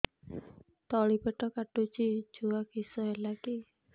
ତଳିପେଟ କାଟୁଚି ଛୁଆ କିଶ ହେଲା କି